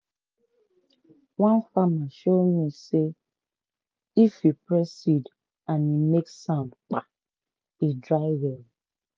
one farmer show me say if you press seed and e make sound(kpa) e dry well.